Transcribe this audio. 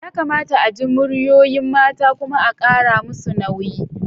Yakamata a ji muryoyin mata kuma a kara musu nauyi.